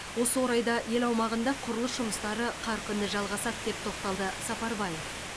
осы орайда ел аумағында құрылыс жұмыстары қарқынды жалғасады деп тоқталды сапарбаев